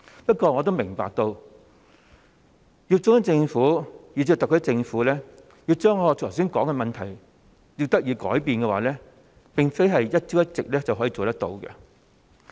不過，我也明白，如要中央政府以至特區政府將我剛才所說的問題解決，並非一朝一夕可以做得到。